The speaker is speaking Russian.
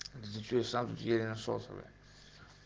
изучаю самом деле насосами